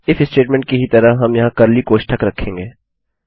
if statement की ही तरह हम यहाँ कर्ली कोष्ठक रखेंगे